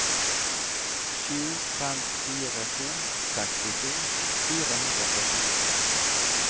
sju fem fire to sekstito fire hundre og førtito